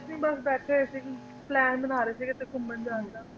ਕੁਝ ਨਹੀਂ ਬੱਸ ਬੈਠੇ ਸੀ ਪਲਾਂ ਬਣਾ ਰਹੇ ਸੀ ਕੀਤੇ ਘੁੰਮਣ ਜਾਣ ਦਾ